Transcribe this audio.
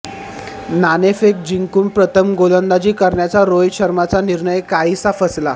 नाणेफेक जिंकून प्रथम गोलंदाजी करण्याचा रोहित शर्माचा निर्णय काहीसा फसला